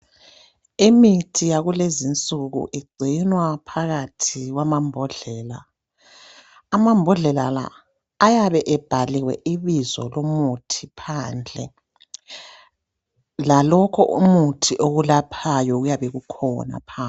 Imithi yakulezinsuku igcinwa phakathi kwamabhodlela. Amabhodlela la ayabe ebhaliwe ibizo lomuthi phandle, lalokhu umuthi okulaphayo kuyabe kukhona phandle.